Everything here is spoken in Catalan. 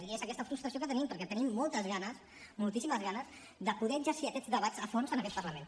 i és aquesta frustració que tenim perquè tenim moltes ganes moltíssimes ganes de poder exercir aquests debats a fons en aquest parlament